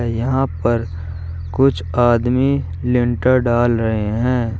यहां पर कुछ आदमी लेंटर डाल रहे हैं।